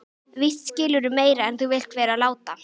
Víst skilurðu meira en þú vilt vera láta.